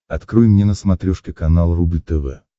открой мне на смотрешке канал рубль тв